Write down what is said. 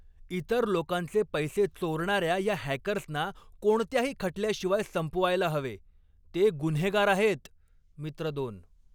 इतर लोकांचे पैसे चोरणाऱ्या या हॅकर्सना कोणत्याही खटल्याशिवाय संपवायला हवे. ते गुन्हेगार आहेत. मित्र दोन